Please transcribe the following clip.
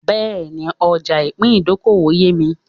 Bẹ́ẹ̀ni, ọjà ìpín ìdókòwò yémi